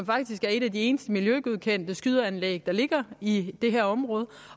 faktisk et af de eneste miljøgodkendte skydeanlæg der ligger i det her område